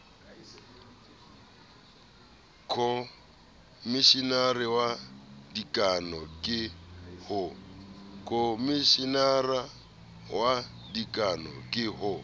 khomeshenara wa dikano ke ho